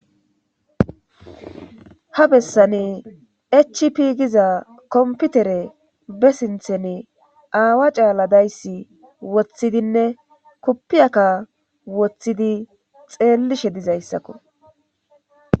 Ha bessane chp giza komputere be sinthene aawa caaladayssi woththidinne koppiyakka woththidi xeellishe dizayssakko